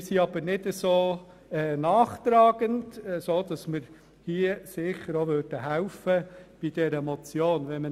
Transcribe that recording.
Wir sind jedoch nicht nachtragend und würden diese Motion mittragen.